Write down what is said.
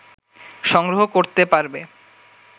সংগ্রহ করতে পারবে